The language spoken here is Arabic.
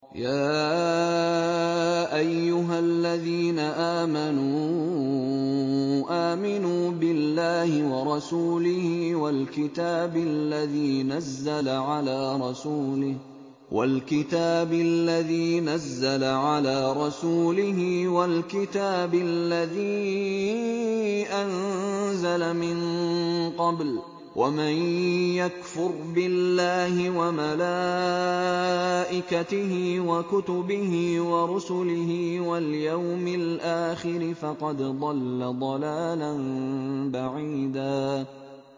يَا أَيُّهَا الَّذِينَ آمَنُوا آمِنُوا بِاللَّهِ وَرَسُولِهِ وَالْكِتَابِ الَّذِي نَزَّلَ عَلَىٰ رَسُولِهِ وَالْكِتَابِ الَّذِي أَنزَلَ مِن قَبْلُ ۚ وَمَن يَكْفُرْ بِاللَّهِ وَمَلَائِكَتِهِ وَكُتُبِهِ وَرُسُلِهِ وَالْيَوْمِ الْآخِرِ فَقَدْ ضَلَّ ضَلَالًا بَعِيدًا